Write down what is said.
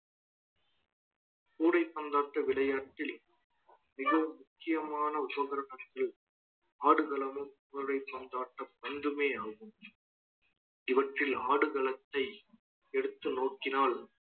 கூடைப்பந்தாட்ட விளையாட்டில் மிகவும் முக்கியமான ஆடுகளமும் கூடை பந்தாட்ட பந்துமே ஆகும் இவற்றில் ஆடுகளத்தை எடுத்து நோக்கினால்